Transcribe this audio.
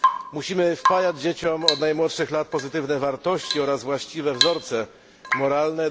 Musimy wpajać dzieciom od najmłodszych lat pozytywne wartości oraz właściwe wzorce moralne.